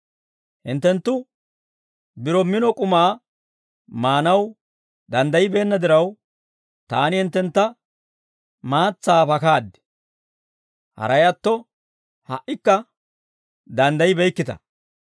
Hinttenttu biro mino k'umaa maanaw danddaybbeenna diraw, taani hinttentta maatsaa pakaad; haray atto, ha"ikka danddaybeykkita.